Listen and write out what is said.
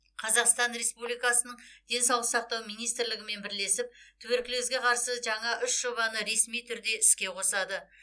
қазақстан республикасының денсаулық сақтау министрлігімен бірлесіп туберкулезге қарсы жаңа үш жобаны ресми түрде іске қосады